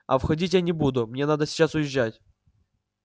а входить я не буду мне надо сейчас уезжать